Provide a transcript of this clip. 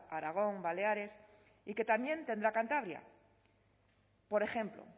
aragón baleares y que también tendrá cantabria por ejemplo